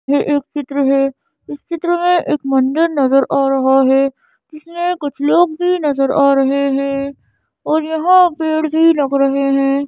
यह एक चित्र है इस चित्र में एक मंदिर नजर आ रहा है इसमें कुछ लोग भी नजर आ रहे हैं और यहाँ पेड भी लग रहे है।